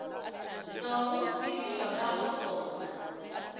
tlogo tsebišwa ka ga sona